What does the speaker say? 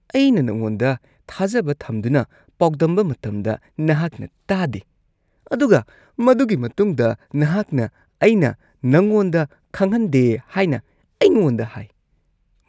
ꯑꯩꯅ ꯅꯉꯣꯟꯗ ꯊꯥꯖꯕ ꯊꯝꯗꯨꯅ ꯄꯥꯎꯗꯝꯕ ꯃꯇꯝꯗ ꯅꯍꯥꯛꯅ ꯇꯥꯗꯦ ꯑꯗꯨꯒ ꯃꯗꯨꯒꯤ ꯃꯇꯨꯡꯗ ꯅꯍꯥꯛꯅ ꯑꯩꯅ ꯅꯉꯣꯟꯗ ꯈꯪꯍꯟꯗꯦ ꯍꯥꯏꯅ ꯑꯩꯉꯣꯟꯗ ꯍꯥꯏ꯫ (ꯃꯔꯨꯞ ꯲)